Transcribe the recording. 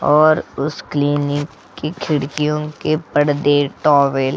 और उस क्लीनिक की खिड़कियों के परदे टॉवेल --